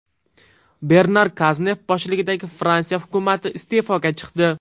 Bernar Kaznev boshchiligidagi Fransiya hukumati iste’foga chiqdi.